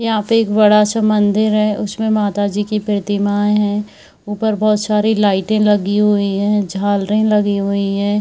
यहां पर एक बड़ा सा मंदिर है उसमें माता जी की प्रतिमा है बहुत सारे लाइट लगे हुए लगी हुई है झालरे लगी हुई है।